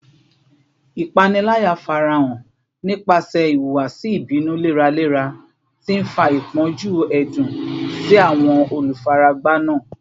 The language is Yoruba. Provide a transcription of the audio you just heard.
Ipanilaya farahan nipasẹ ihuwasi ibinu leralera, ti nfa ipọnju ẹdun si awọn olufaragba naa